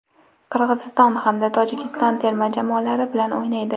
Qirg‘iziston hamda Tojikiston terma jamoalari bilan o‘ynaydi.